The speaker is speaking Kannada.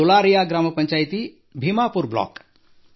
ಡುಲಾರಿಯಾ ಗ್ರಾಮಪಂಚಾಯಿತಿ ಭೀಮಾಪುರ್ ಬ್ಲಾಕ್